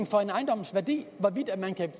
for en ejendoms værdi hvorvidt man kan